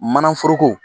Mana foroko